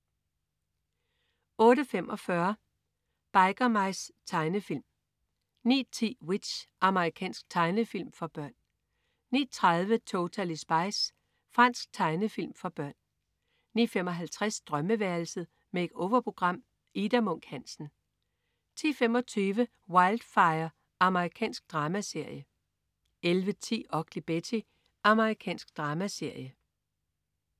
08.45 Biker Mice. Tegnefilm 09.10 W.i.t.c.h. Amerikansk tegnefilmserie for børn 09.30 Totally Spies. Fransk tegnefilm for børn 09.55 Drømmeværelset. Make-over-program. Ida Munk Hansen 10.25 Wildfire. Amerikansk dramaserie 11.10 Ugly Betty. Amerikansk dramaserie